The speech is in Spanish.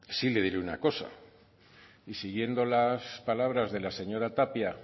sí le diré una cosa y siguiendo las palabras de la señora tapia